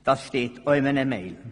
Das steht auch in einer E-Mail.